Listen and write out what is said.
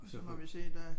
Så må vi se der